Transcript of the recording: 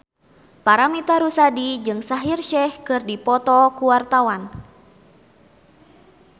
Paramitha Rusady jeung Shaheer Sheikh keur dipoto ku wartawan